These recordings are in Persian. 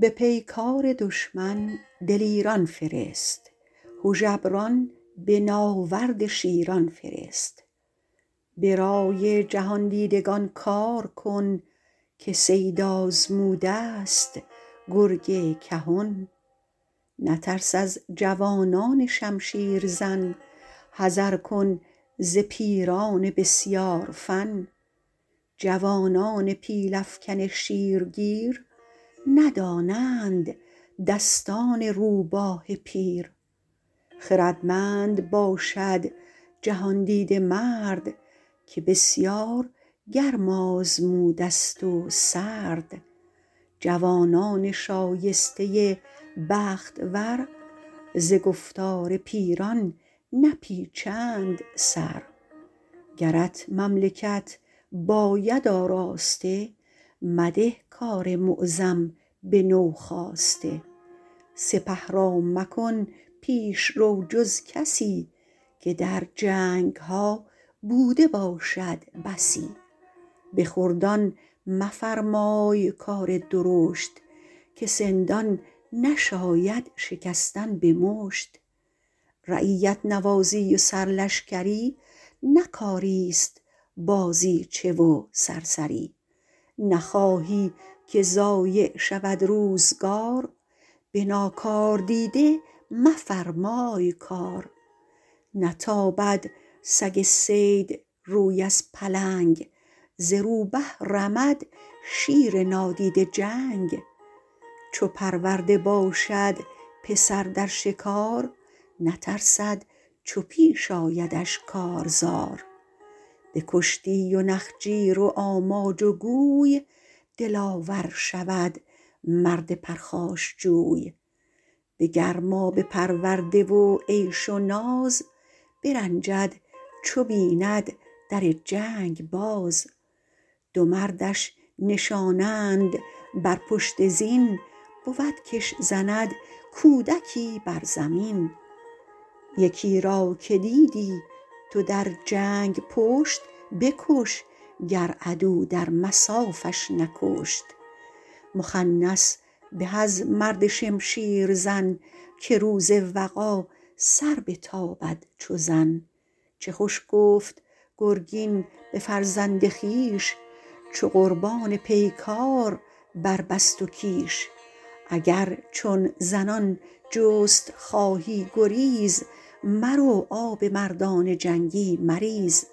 به پیکار دشمن دلیران فرست هژبران به ناورد شیران فرست به رای جهاندیدگان کار کن که صید آزموده ست گرگ کهن مترس از جوانان شمشیر زن حذر کن ز پیران بسیار فن جوانان پیل افکن شیرگیر ندانند دستان روباه پیر خردمند باشد جهاندیده مرد که بسیار گرم آزموده ست و سرد جوانان شایسته بخت ور ز گفتار پیران نپیچند سر گرت مملکت باید آراسته مده کار معظم به نوخاسته سپه را مکن پیشرو جز کسی که در جنگها بوده باشد بسی به خردان مفرمای کار درشت که سندان نشاید شکستن به مشت رعیت نوازی و سر لشکری نه کاری است بازیچه و سرسری نخواهی که ضایع شود روزگار به ناکاردیده مفرمای کار نتابد سگ صید روی از پلنگ ز روبه رمد شیر نادیده جنگ چو پرورده باشد پسر در شکار نترسد چو پیش آیدش کارزار به کشتی و نخجیر و آماج و گوی دلاور شود مرد پرخاشجوی به گرمابه پرورده و عیش و ناز برنجد چو بیند در جنگ باز دو مردش نشانند بر پشت زین بود کش زند کودکی بر زمین یکی را که دیدی تو در جنگ پشت بکش گر عدو در مصافش نکشت مخنث به از مرد شمشیر زن که روز وغا سر بتابد چو زن چه خوش گفت گرگین به فرزند خویش چو قربان پیکار بربست و کیش اگر چون زنان جست خواهی گریز مرو آب مردان جنگی مریز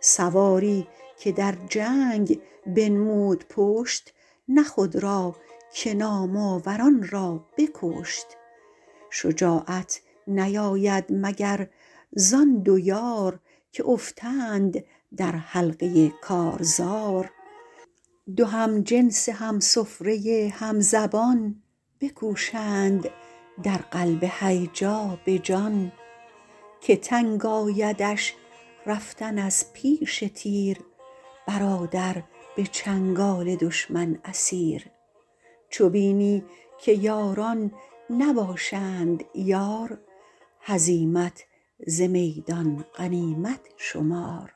سواری که در جنگ بنمود پشت نه خود را که نام آوران را بکشت شجاعت نیاید مگر زآن دو یار که افتند در حلقه کارزار دو همجنس همسفره همزبان بکوشند در قلب هیجا به جان که تنگ آیدش رفتن از پیش تیر برادر به چنگال دشمن اسیر چو بینی که یاران نباشند یار هزیمت ز میدان غنیمت شمار